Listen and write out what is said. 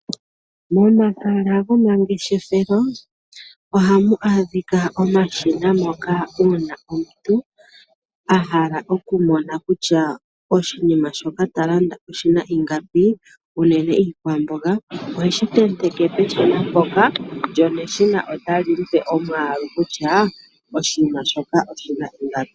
Momahala gomangeshefelo ohamu adhika omashina moka uuna omuntu a hala okumona kutya oshinima shoka ta landa oshi na ingapi, unene iikwamboga oheshi tenteke peshina mpoka, lyo neshina otali mu pe omwaalu kutya oshinima shoka oshi na ingapi.